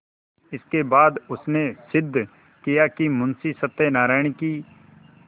इसके बाद उसने सिद्ध किया कि मुंशी सत्यनारायण की